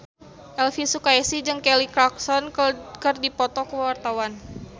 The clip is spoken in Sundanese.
Elvi Sukaesih jeung Kelly Clarkson keur dipoto ku wartawan